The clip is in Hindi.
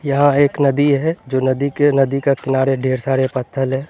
यहा एक नदी है जो नदी के नदी का किनारे ढेर सारे पत्थल हैं।